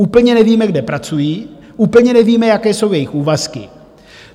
Úplně nevíme, kde pracují, úplně nevíme, jaké jsou jejich úvazky.